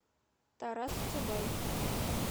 тарас чубай